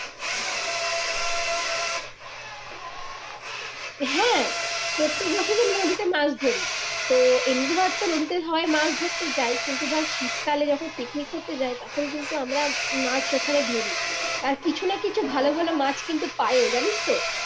হ্যা প্রত্যেক বছরে নদীতে মাছ ধরি তো এমনি ধর তোর নদীতে হয় মাছ ধরতে যাই কিন্তু ধর শীতকালে যখন পিকনিক করতে যাই তখন কিন্তু আমরা মাছ ওখানে ধরি কিছু না কিছু ভালো ভালো মাছ কিন্তু পাইয়ো জানিস তো